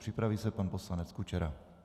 Připraví se pan poslanec Kučera.